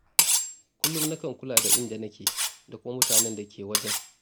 Kullum na kan kula da inda nake, da kuma mutanen da ke wajen.